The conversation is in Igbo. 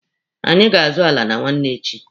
Anyị ga azụ ala na nwanne echi.